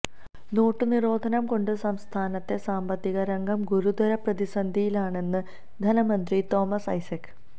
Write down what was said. note നിരോധനം കൊണ്ട് സംസ്ഥാനത്തെ സാമ്പത്തികരംഗം ഗുരുതര പ്രതിസന്ധിയിലാണെന്ന് ധനമന്ത്രി തോമസ് ഐസക്